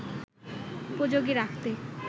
উপযোগী রাখতে